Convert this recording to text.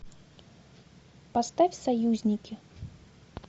поставь союзники